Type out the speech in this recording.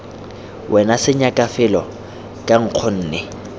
wena senyaka felo fa nkgonne